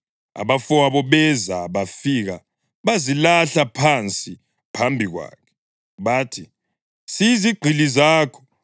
Abafowabo beza bafika bazilahla phansi phambi kwakhe. Bathi, “Siyizigqili zakho.”